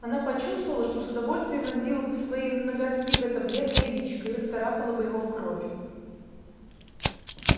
она почувствовала что с удовольствием вонзила бы свои ноготки в это бледное личико и расцарапала бы его в кровь